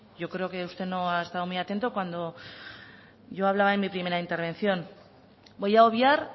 yo creo que usted no ha estado muy atento cuando yo hablaba en mi primera intervención voy a obviar